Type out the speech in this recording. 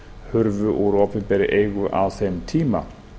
hurfu úr opinberri eigu á þeim tíma